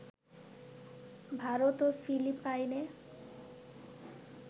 ভারত ও ফিলিপাইনে